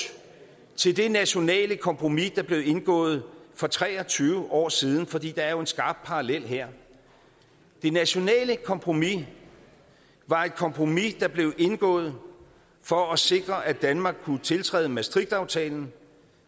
til det nationale kompromis der blev indgået for tre og tyve år siden for der er jo en skarp parallel her det nationale kompromis var et kompromis der blev indgået for at sikre at danmark kunne tiltræde maastrichtaftalen